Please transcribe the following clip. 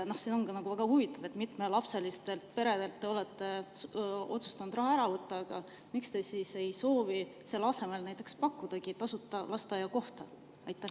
See on väga huvitav, et mitmelapselistelt peredelt te olete otsustanud raha ära võtta – aga miks te ei soovi pakkuda selle asemele näiteks tasuta lasteaiakohta?